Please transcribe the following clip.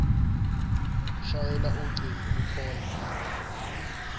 shayela ucingo kwicall